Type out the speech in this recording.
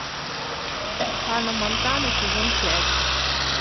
ханна монтана сезон пять